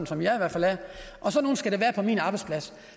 som jeg er sådan nogle skal der være på min arbejdsplads